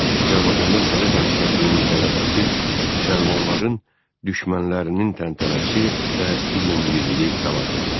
Azərbaycanda Sovet hakimiyyətinin qələbəsi müsəlmanların düşmənlərinin təntənəsi və ümummilli fəlakət idi.